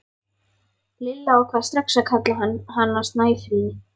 Lilla ákvað strax að kalla hana Snæfríði.